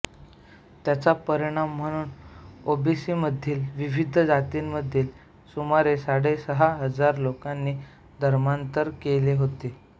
त्याचा परिणाम म्हणून ओबीसीमधील विविध जातींमधील सुमारे साडे सहा हजार लोकांनी धर्मातर केले होते